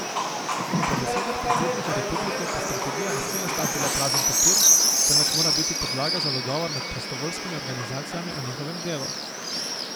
Po besedah predsednika republike pa strategija ne sme ostati le prazen papir, temveč mora biti podlaga za dogovor med prostovoljskimi organizacijami o njihovem delu.